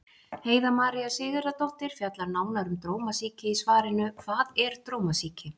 Heiða María Sigurðardóttir fjallar nánar um drómasýki í svarinu Hvað er drómasýki?